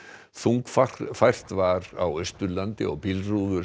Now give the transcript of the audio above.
þungfært var á Austurlandi og bílrúður